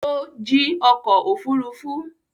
Ó jí ọkọ̀-òfurufú?